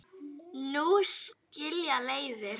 Nú skilja leiðir.